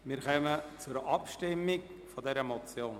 Wir kommen zur Abstimmung über diese Motion.